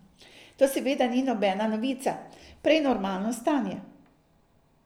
To seveda ni nobena novica, prej normalno stanje.